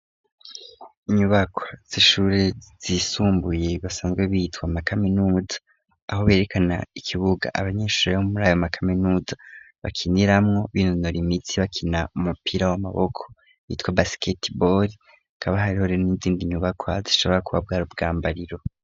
Inyubakwa z'ishure zisumbuye basanzwe bitwa amkaminuza aho berekana ikibuga abanyeshure b'o muriayo mcaminud bakiniramwo binonora imitsi bakina umupira w'amaboko bitwa basket bor kabaharihore n'inzindi nyubaka zishobora kuba bwar ubwambariro.